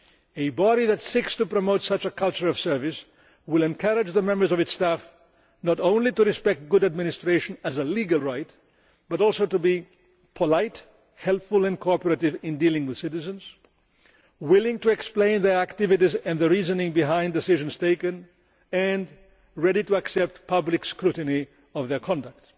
A body which seeks to promote such a culture of service will encourage the members of its staff not only to respect good administration as a legal right but also to be polite, helpful and cooperative in dealing with citizens, willing to explain their activities and the reasoning behind decisions taken and ready to accept public scrutiny of their conduct.